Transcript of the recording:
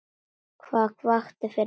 Hvað vakti fyrir henni?